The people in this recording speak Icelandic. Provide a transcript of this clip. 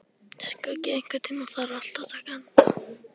Skuggi, einhvern tímann þarf allt að taka enda.